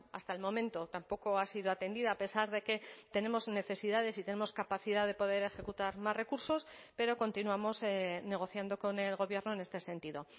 hasta el momento tampoco ha sido atendida a pesar de que tenemos necesidades y tenemos capacidad de poder ejecutar más recursos pero continuamos negociando con el gobierno en este sentido